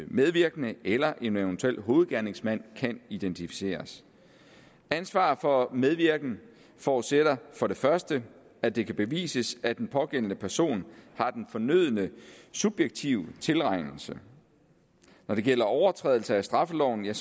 medvirkende eller en eventuel hovedgerningsmand kan identificeres ansvaret for medvirken forudsætter for det første at det kan bevises at den pågældende person har den fornødne subjektive tilregnelse når det gælder overtrædelse af straffeloven er